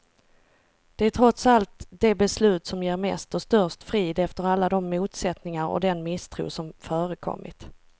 Det är trots allt det beslut som ger mest och störst frid, efter alla de motsättningar och den misstro som förekommit.